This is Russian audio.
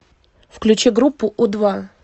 включи группу у два